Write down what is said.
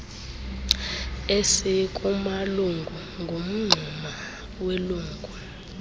esikumalungu ngumngxuma welungu